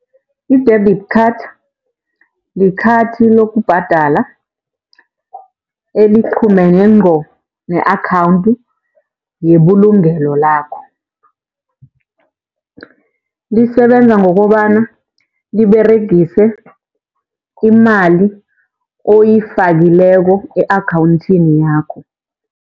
I-debit card likhathi lokubhadala eliqhumene ngqo ne-akhawunthi yebulugelo lakho. Lisebenza ngokobana liberegise imali oyifakileko e-akhawunthini yakho.